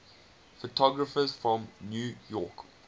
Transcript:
photographers from new york